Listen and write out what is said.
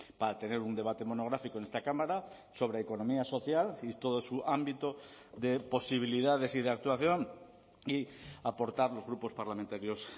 para tener un debate monográfico en esta cámara sobre economía social y todo su ámbito de posibilidades y de actuación y aportar los grupos parlamentarios